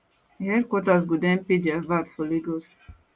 di headquarters go den pay dia vat for lagos